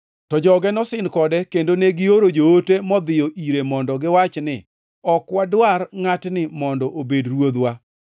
“To joge nosin kode kendo negioro joote modhiyo ire mondo giwach ni, ‘Ok wadwar ngʼatni mondo obed ruodhwa.’